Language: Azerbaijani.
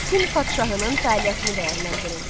Sin padşahının fəaliyyətini dəyərləndirin.